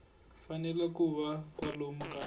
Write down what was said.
fanele ku va kwalomu ka